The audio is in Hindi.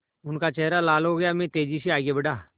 उनका चेहरा लाल हो गया मैं तेज़ी से आगे बढ़ा